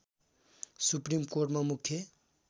supreme कोर्टमा मुख्य